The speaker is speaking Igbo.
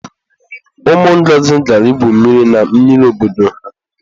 Ụmụ Ngọzi gara ígwù mmiri na mmiri obodo ha.